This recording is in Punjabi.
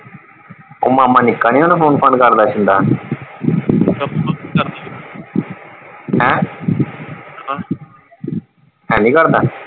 ਉਹ ਮਾਮਾ ਨਿੱਕਾ ਨੀ ਓਹਨੂੰ phone ਫਾਨ ਕਰਦਾ ਹੈਂ, ਹੈਨੀ ਕਰਦਾ?